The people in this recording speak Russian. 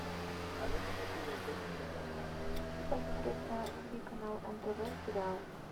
хочу посмотреть на тв канал нтв сериал